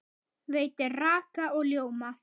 Veitir raka og ljóma.